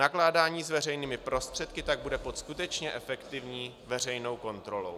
Nakládání s veřejnými prostředky tak bude pod skutečně efektivní veřejnou kontrolou.